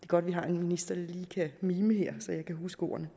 godt at vi har en minister der lige kan mime så jeg kan huske ordene